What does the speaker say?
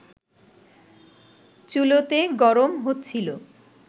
চুলোতে গরম হচ্ছিল